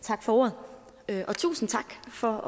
tak for ordet og tusind tak for